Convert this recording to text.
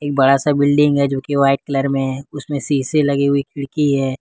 बड़ा सा बिल्डिंग हैं जोकि व्हाइट कलर में उसमें शीशे लगी हुई खिड़की है।